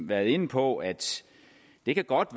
været inde på at det godt